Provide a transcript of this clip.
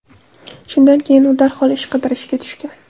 Shundan keyin u darhol ish qidirishga tushgan.